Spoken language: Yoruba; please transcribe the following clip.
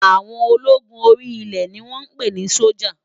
Áwòn ólógún óri ilè ni wòn pé ni sójá